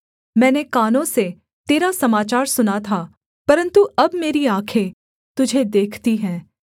मैंने कानों से तेरा समाचार सुना था परन्तु अब मेरी आँखें तुझे देखती हैं